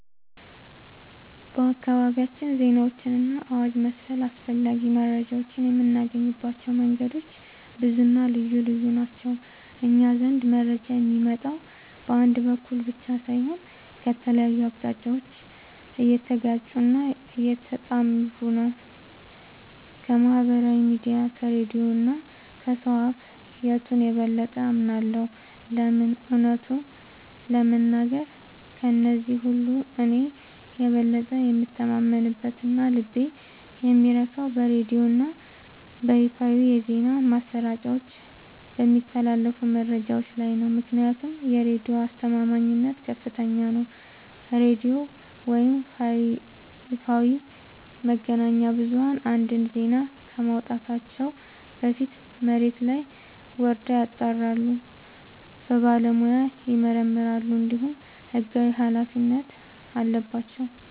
በአካባቢያችን ዜናዎችንና አዋጅ መሰል አስፈላጊ መረጃዎችን የምናገኝባቸው መንገዶች ብዙና ልዩ ልዩ ናቸው። እኛ ዘንድ መረጃ የሚመጣው በአንድ በኩል ብቻ ሳይሆን ከተለያዩ አቅጣጫዎች እየተጋጩና እየተጣሩ ነው። ከማኅበራዊ ሚዲያ፣ ከሬዲዮ እና ከሰው አፍ... የቱን የበለጠ አምናለሁ? ለምን? እውነቱን ለመናገር፣ ከእነዚህ ሁሉ እኔ የበለጠ የምተማመንበትና ልቤ የሚረካው በሬዲዮና በይፋዊ የዜና ማሰራጫዎች በሚተላለፉ መረጃዎች ላይ ነው። ምክንያቱም የሬዲዮ አስተማማኝነት ከፍተኛ ነው፤ ሬዲዮ ወይም ይፋዊ መገናኛ ብዙኃን አንድን ዜና ከማውጣታቸው በፊት መሬት ላይ ወርደው ያጣራሉ፣ በባለሙያ ይመረምራሉ፣ እንዲሁም ሕጋዊ ኃላፊነት አለባቸው።